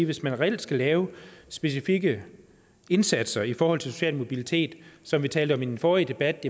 hvis man reelt skal lave specifikke indsatser i forhold til social mobilitet som vi talte om i den forrige debat